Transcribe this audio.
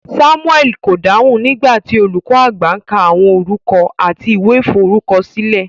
Samuel ko dáhùn nigba ti olùkọ àgbà ka àwọn orúkọ láti ìwé f'orukọsile.